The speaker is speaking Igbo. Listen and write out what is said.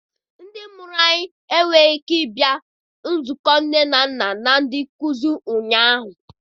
Ndị mụrụ m enweghị ike bịa nzukọ nne na nna na ndị nkuzi ụnyaahụ.